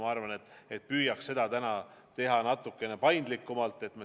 Ma arvan, et püüaks seda praegu teha natukene paindlikumalt.